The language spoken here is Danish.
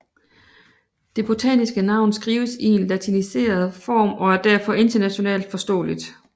Det botaniske navn skrives i en latiniseret form og er derfor internationalt forståeligt